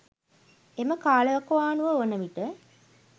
එම කාලවකවානුව වන විට